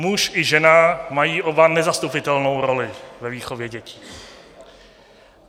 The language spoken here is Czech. Muž i žena mají oba nezastupitelnou roli ve výchově dětí.